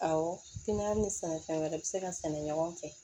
Awɔ ni sɛnɛfɛn wɛrɛ bɛ se ka sɛnɛ ɲɔgɔn fɛ